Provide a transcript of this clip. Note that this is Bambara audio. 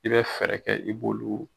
I bɛ fɛɛrɛ kɛ i b'olu.